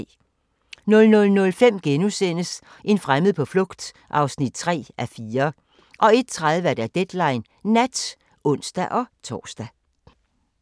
00:05: En fremmed på flugt (3:4)* 01:30: Deadline Nat (ons-tor)